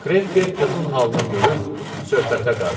Krefker qızın halını görüb söhbətə qarışdı.